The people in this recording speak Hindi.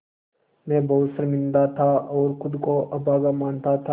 मैं बहुत शर्मिंदा था और ख़ुद को अभागा मानता था